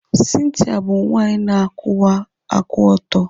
Cynthia bụ nwanyị na-akwụwa aka ọtọ.